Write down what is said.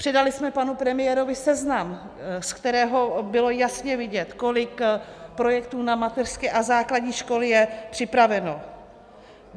Předali jsme panu premiérovi seznam, z kterého bylo jasně vidět, kolik projektů na mateřské a základní školy je připraveno.